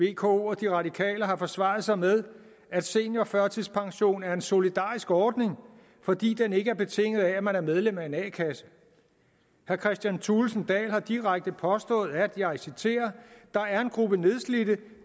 vko og de radikale har forsvaret sig med at seniorførtidspension er en solidarisk ordning fordi den ikke er betinget af at man er medlem af en a kasse herre kristian thulesen dahl har direkte påstået at og jeg citerer der er en gruppe nedslidte